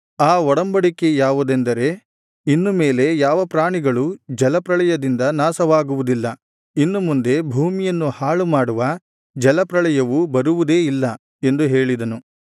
ಆ ಒಡಂಬಡಿಕೆ ಯಾವುದೆಂದರೆ ಇನ್ನು ಮೇಲೆ ಯಾವ ಪ್ರಾಣಿಗಳೂ ಜಲಪ್ರಳಯದಿಂದ ನಾಶವಾಗುವುದಿಲ್ಲ ಇನ್ನು ಮುಂದೆ ಭೂಮಿಯನ್ನು ಹಾಳುಮಾಡುವ ಜಲಪ್ರಳಯವು ಬರುವುದೇ ಇಲ್ಲ ಎಂದು ಹೇಳಿದನು